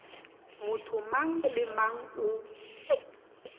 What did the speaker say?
motho mang le mang o